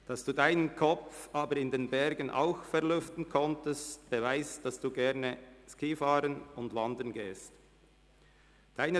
Dass Sie Ihren Kopf aber in den Bergen auch auslüften konnten, beweist, dass Sie gerne Ski fahren und wandern gehen.